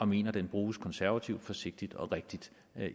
mener den bruges konservativt forsigtigt og rigtigt